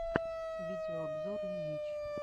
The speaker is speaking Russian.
видеообзор ильич